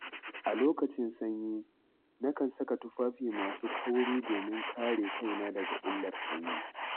A lokacin sanyi, nakan saka tufafi masu kauri domin kare kaina daga illar sanyi.